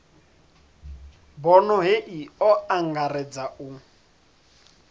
bono hei o angaredza u